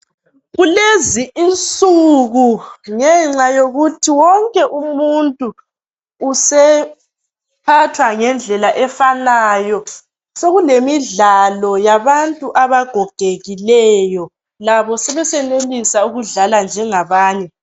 Kulezi insuku ngenxa yokuthi wonke umuntu usephathwa ngendlela efanayo sokulemidlalo yabantu abagogekileyo labo sebenelisa ukudlala njengabanye